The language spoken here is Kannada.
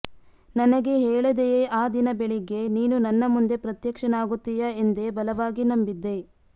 ನನಗೆ ಹೇಳದೆಯೇ ಆ ದಿನ ಬೆಳಿಗ್ಗೆ ನೀನು ನನ್ನ ಮುಂದೆ ಪ್ರತ್ಯಕ್ಷನಾಗುತ್ತೀಯ ಎಂದೇ ಬಲವಾಗಿ ನಂಬಿದ್ದೆ